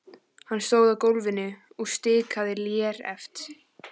Hann stóð á gólfinu og stikaði léreft.